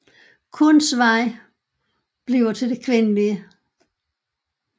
Kuns vej 坤道 bliver til det kvindelige